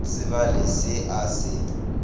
sa tsebale se a se